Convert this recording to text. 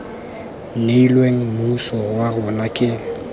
neilweng mmuso wa rona ke